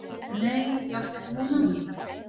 Nei ég átti ekki von á því.